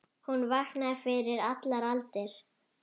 Hún vaknaði fyrir allar aldir.